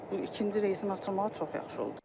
Bu ikinci reysin açılmağı çox yaxşı oldu.